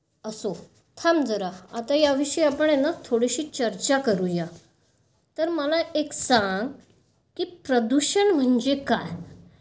असो, थांब जरा. आता या विषयी ना आपण थोडी चर्चा करूया. तर मला एक सांग, की प्रदूषण म्हणजे काय?